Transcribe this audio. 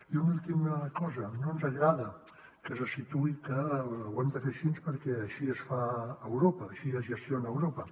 i una última cosa no ens agrada que se situï que ho hem de fer així perquè així es fa a europa així es gestiona a europa